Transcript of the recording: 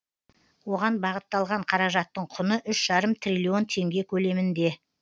оған бағытталған қаражаттың құны үш жарым триллион теңге көлемінде